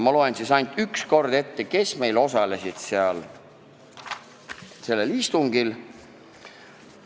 Ma loen üks kord ette, kes sellel istungil osalesid.